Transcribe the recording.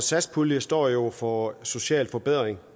satspuljen står jo for sociale forbedringer